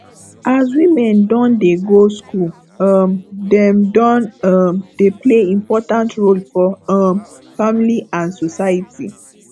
as women don dey go school um dem don um dey play important role for um family and society